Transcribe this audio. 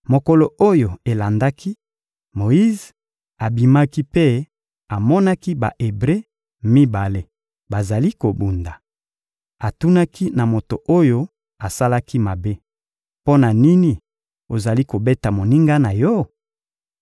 Mokolo oyo elandaki, Moyize abimaki mpe amonaki Ba-Ebre mibale bazali kobunda. Atunaki na moto oyo asalaki mabe: — Mpo na nini ozali kobeta moninga na yo?